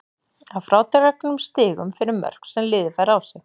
Að frádregnum stigum fyrir mörk sem liðið fær á sig.